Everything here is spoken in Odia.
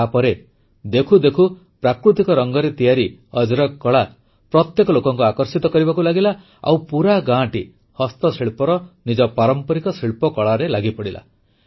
ତାପରେ ଦେଖୁ ଦେଖୁ ପ୍ରାକୃତିକ ରଙ୍ଗରେ ତିଆରି ଅଜରକ କଳା ପ୍ରତ୍ୟେକ ଲୋକଙ୍କୁ ଆକର୍ଷିତ କରିବାକୁ ଲାଗିଲା ଆଉ ପୁରା ଗାଁଟି ନିଜ ପାରମ୍ପରିକ ଶିଳ୍ପକଳାରେ ଲାଗିପଡ଼ିଲା